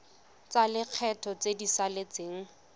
tsa lekgetho tse di saletseng